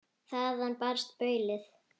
Þaðan barst baulið.